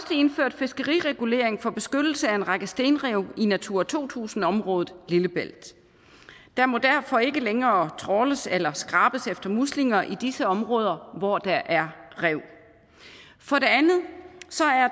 indført fiskeriregulering for beskyttelse af en række stenrev i natura to tusind området lillebælt der må derfor ikke længere trawles eller skrabes efter muslinger i disse områder hvor der er rev for det andet